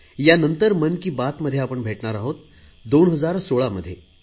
यानंतर मन की बातमध्ये आपण भेटणार आहोत 2016 मध्ये